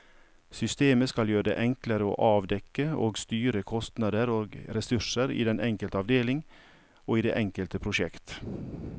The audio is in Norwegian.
Systemet skal gjøre det enklere å avdekke og styre kostnader og ressurser i den enkelte avdeling og i det enkelte prosjekt.